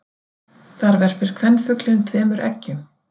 Þar verpir kvenfuglinn tveimur eggjum.